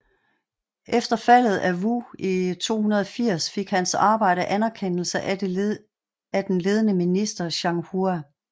Efter faldet af Wu i 280 fik hans arbejde anerkendelse af det ledende minister Zhang Hua